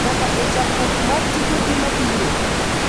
Nyaka e chakruok mar tijegi mabiro,